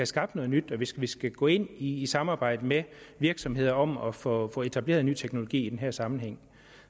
skabt noget nyt og hvis vi skal gå ind i et samarbejde med virksomheder om at få at få etableret ny teknologi i den her sammenhæng